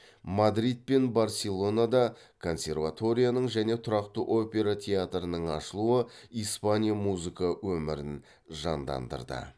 мадрид пен барселонада консерваторияның және тұрақты опера театрының ашылуы испания музыка өмірін жандандырды